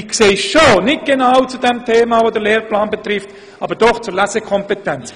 Ich weiss, es geht nicht um ein Thema, welches den Lehrplan 21 betrifft, aber es geht doch um die Lesekompetenz.